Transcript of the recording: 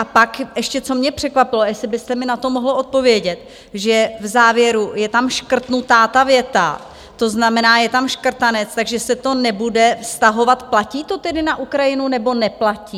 A pak ještě, co mě překvapilo, jestli byste mi na to mohl odpovědět, že v závěru je tam škrtnutá ta věta, to znamená je tam škrtanec, takže se to nebude vztahovat - platí to tedy na Ukrajinu, nebo neplatí?